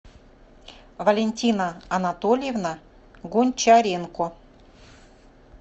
валентина анатольевна гончаренко